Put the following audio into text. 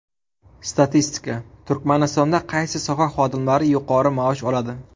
Statistika: Turkmanistonda qaysi soha xodimlari yuqori maosh oladi?.